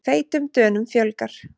Feitum Dönum fjölgar